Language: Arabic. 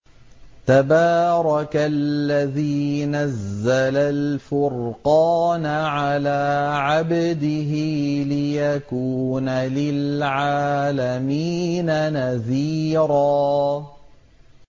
تَبَارَكَ الَّذِي نَزَّلَ الْفُرْقَانَ عَلَىٰ عَبْدِهِ لِيَكُونَ لِلْعَالَمِينَ نَذِيرًا